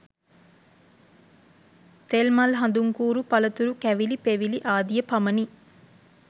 තෙල්, මල් හඳුන්කූරු පළතුරු කැවිලි පෙවිලි ආදිය පමණි.